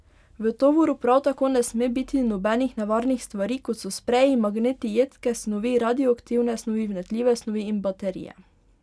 V tovoru prav tako ne sme biti nobenih nevarnih stvari, kot so spreji, magneti, jedke snovi, radioaktivne snovi, vnetljive snovi in baterije.